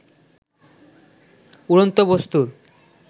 উড়ন্ত বস্তু্র